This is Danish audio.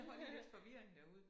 Der var lige lidt forvirring derude